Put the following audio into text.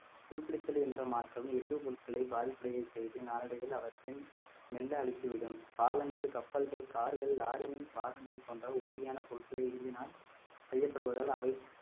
துருப்பிடித்தல் என்ற மாற்றம் இரும்பு பொருட்களை பாதிப்படைய செய்து நாளடைவில் அவற்றின் மெல்ல அழுத்திவிடும் பாலங்கள் கப்பல்கள் கார்கள் லாரியின் பாகங்கள் போன்ற உறுதியான பொருட்களை இரும்பினால் செய்யப்படுவதால் அவை